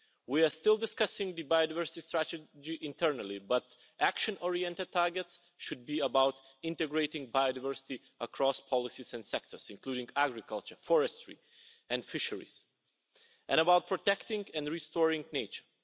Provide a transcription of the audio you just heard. We are still discussing the biodiversity strategy internally, but action oriented targets should be about integrating biodiversity across policies and sectors, including agriculture, forestry and fisheries, and about protecting and restoring nature.